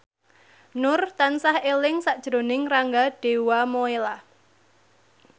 Nur tansah eling sakjroning Rangga Dewamoela